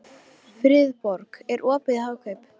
Friðborg, er opið í Hagkaup?